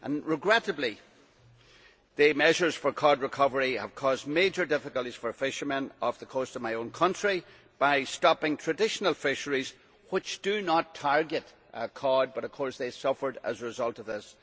Regrettably, the measures for cod recovery have caused major difficulties for fishermen off the coast of my own country by stopping traditional fisheries which, although they do not target cod, have of course suffered as a result of this.